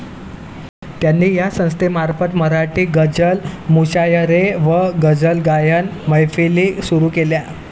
त्यांनी या संस्थेमार्फत मराठी गझल मुशायरे व गझलगायन मैफिली सुरु केल्या.